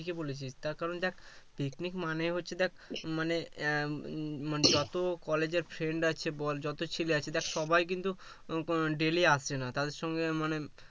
ঠিকই বলেছিস তার কারন দেখ picnic মানেই হচ্ছে দেখ মানে উম মানে যত college এর ফ্রেন্ড আছে বল যত ছেলে আছে দেখ সবাই কিন্তু daily আসে না তাদের সংঘে মানে